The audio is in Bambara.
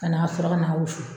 Ka na sɔrɔ ka na wusu